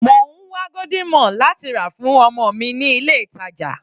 Mò ń wá golden morn láti rà fún ọmọ mi ní ilé ìtàjà.